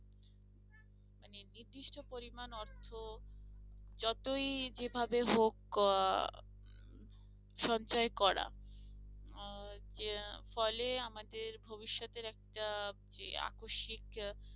মানে নির্দিষ্ট পরিমান অর্থ যতই যে ভাবে হোক আহ সঞ্চয় করা ফলে আমাদের ভবিষতের একটা যে আকস্মিক আহ